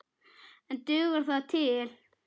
En dugar það til?